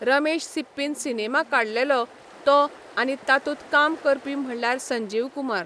रमेश सिप्पीन सिनेमा काडलेलो तो आनी तातूंत काम करपी म्हणल्यार संजीव कुमार,